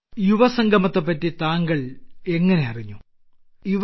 യുവസംഗമത്തെപ്പറ്റി താങ്കൾ എങ്ങിനെയറിഞ്ഞു യുവ